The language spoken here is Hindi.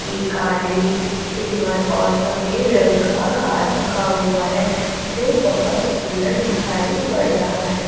के काली सिल्वर और सफेद रंग का कार रखा हुआ है जो बहोत सुंदर दिखाई पड़ रहा है।